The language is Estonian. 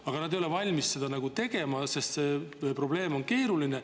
Aga seda ei olda valmis tegema, sest see probleem on keeruline.